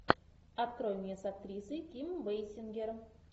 открой мне с актрисой ким бейсингер